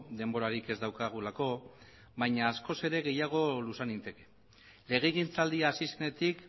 denborarik ez daukagulako baina askoz ere gehiago luza ninteke legegintzaldia hasi zenetik